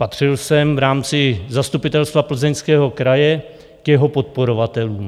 Patřil jsem v rámci Zastupitelstva Plzeňského kraje k jeho podporovatelům.